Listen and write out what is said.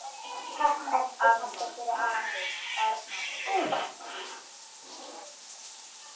Amma, afi, Erna og Steini.